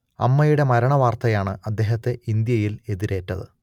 അമ്മയുടെ മരണവാർത്തയാണ് അദ്ദേഹത്തെ ഇന്ത്യയിൽ എതിരേറ്റത്